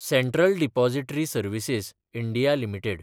central depository services (India) limited